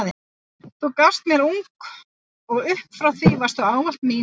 Þú gafst mér ung og upp frá því varstu ávallt mín.